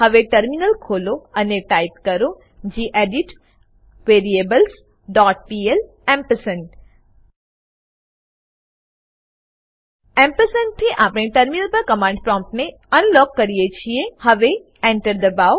હવે ટર્મિનલ ખોલો અને ટાઈપ કરો gedit variables dot P L ampersand ampersand થી આપણે ટર્મિનલ પર કમાંડ પ્રોમ્પ્ટ ને અનલોક કરીએ છીએ હવે Enter દબાઓ